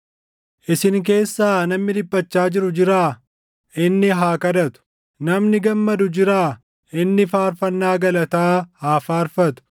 Isin keessaa namni dhiphachaa jiru jiraa? Inni haa kadhatu. Namni gammadu jiraa? Inni faarfannaa galataa haa faarfatu.